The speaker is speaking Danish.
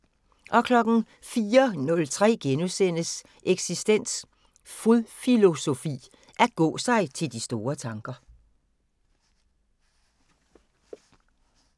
04:03: Eksistens: Fodfilosofi – At gå sig til de store tanker *